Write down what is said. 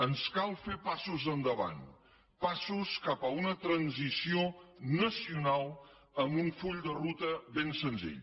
ens cal fer passos endavant passos cap a una transició nacional amb un full de ruta ben senzill